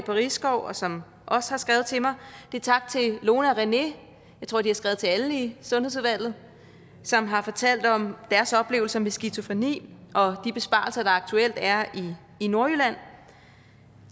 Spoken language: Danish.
risskov og som også har skrevet til mig det er tak til lone og rené jeg tror de har skrevet til alle i sundhedsudvalget som har fortalt om deres oplevelser med skizofreni og de besparelser der aktuelt er i nordjylland